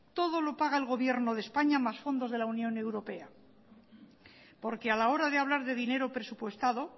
todo lo paga el gobierno de españa más fondos de la unión europea porque a la hora de hablar de dinero presupuestado